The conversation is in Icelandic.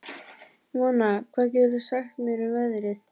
Mona, hvað geturðu sagt mér um veðrið?